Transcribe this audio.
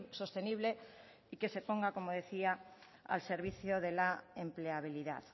sostenible y que se ponga como decía al servicio de la empleabilidad